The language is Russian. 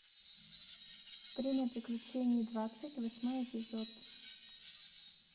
время приключений двадцать восьмой эпизод